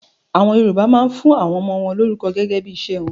AÀwọn Yorùbá máa ń fún àwọn ọmọ wọn lórúkọ gẹ́gẹ́ bí iṣẹ́ wọn